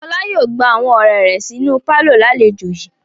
Fọlá yóò gba awọn ọ̀rẹ́ rẹ̀ sínú pálọ̀ lálejò yìí.